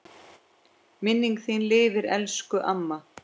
Minning þín lifir elsku amma.